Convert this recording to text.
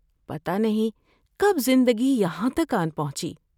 پتہ نہیں کب زندگی یہاں تک آن پہنچی۔